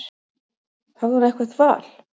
Hafði hún eitthvert val?